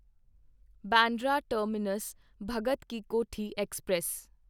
Bandra terminus Bhagat ki Kothi express